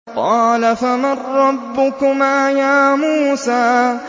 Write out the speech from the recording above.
قَالَ فَمَن رَّبُّكُمَا يَا مُوسَىٰ